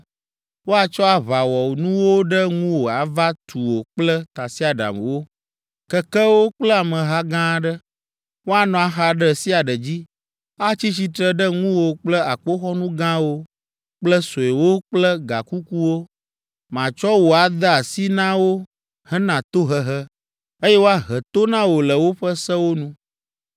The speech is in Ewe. Woatsɔ aʋawɔnuwo ɖe ŋuwò ava tu wò kple tasiaɖamwo, kekewo kple ameha gã aɖe. Woanɔ axa ɖe sia ɖe dzi, atsi tsitre ɖe ŋuwò kple akpoxɔnu gãwo kple suewo kple gakukuwo. Matsɔ wò ade asi na wo hena tohehe, eye woahe to na wò le woƒe sewo nu.